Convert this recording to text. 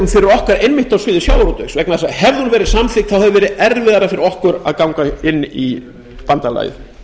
einmitt á sviði sjávarútvegs vegna þess að hefði hún verið samþykkt hefði verið erfiðara fyrir okkur að ganga inn í bandalagið